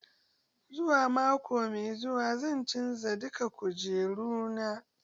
Zuwa mako mai zuwa zan canza duka kujeru na.